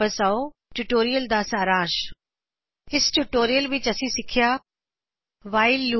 ਇਸ ਟਯੂਟੋਰਿਯਲ ਦਾ ਸਾਰ ਇਸ ਟਯੂਟੋਰਿਅਲ ਵਿਚ ਅਸੀਂ ਸਿੱਖਿਆ ਵਾਇਲ ਲੂਪ